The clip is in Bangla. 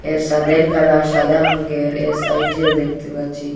এর সাদের কালার সাদা রঙ্গের এর সাইটেও দেখতে পাচ্ছি।